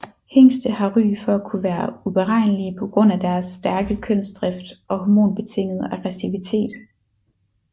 Hingste har ry for at kunne være uberegnelige på grund af deres stærke kønsdrift og hormonbetingede aggressivitet